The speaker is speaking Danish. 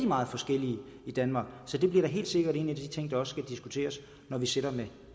meget forskellige i danmark så det bliver helt sikkert en af de ting der også skal diskuteres når vi sidder med